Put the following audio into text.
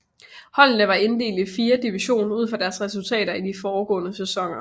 Holdene var inddelt i fire division ud fra deres resultater i de foregående sæsoner